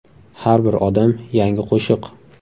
Har bir odam yangi qo‘shiq”.